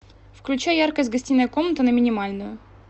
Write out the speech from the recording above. включай яркость гостиная комната на минимальную